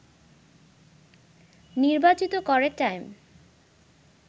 নির্বাচিত করে টাইম